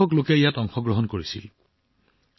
অভিলেখ সংখ্যক লোকে ইয়াত অংশগ্ৰহণ কৰিছিল